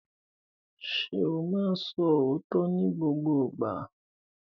Ṣo máa ń sọ òótọ́ ní gbogbo ìgbà?